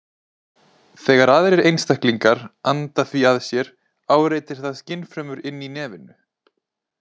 Þegar aðrir einstaklingar anda því að sér áreitir það skynfrumur inni í nefinu.